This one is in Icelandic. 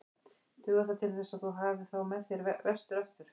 Dugar það til þess að þú hafir þá með þér vestur aftur?